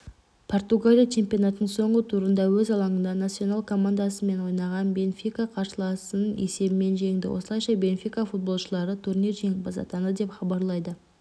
португалия чемпионатының соңғы турында өз алаңында насьонал командасымен ойнаған бенфика қарсыласын есебімен жеңді осылайша бенфика футболшылары турнир жеңімпазы атанды деп хабарлайды